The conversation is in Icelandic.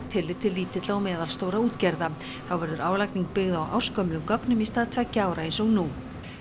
tillit til lítilla og meðalstórra útgerða þá verður álagning byggð á ársgömlum gögnum í stað tveggja ára eins og nú